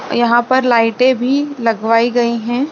यहाँ पर लाइटें भी लगवाई गयी है।